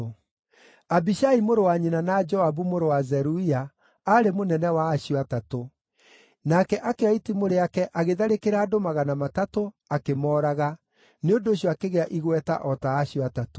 Abishai mũrũ wa nyina na Joabu mũrũ wa Zeruia aarĩ mũnene wa acio atatũ. Nake akĩoya itimũ rĩake agĩtharĩkĩra andũ magana matatũ, akĩmooraga; nĩ ũndũ ũcio akĩgĩa igweta o ta acio Atatũ.